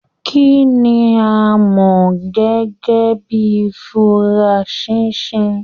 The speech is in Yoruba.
Kínní a mọ gẹgẹ bíi furasisi?